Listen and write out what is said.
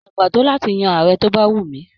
Mo dàgbà to láti yan Ààrẹ to bá wù mí.